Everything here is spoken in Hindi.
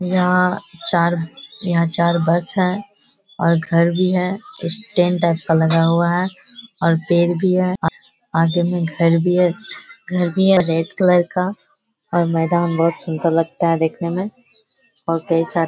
यहाँ चार यहाँ चार बस है और घर भी है स्टैंड टाइप का लगा हुआ है और बेग भी है आ आगे में घर भी है घर भी है रेड कलर का और मैदान बहुत सूंदर लगता है देखने में और कई सा --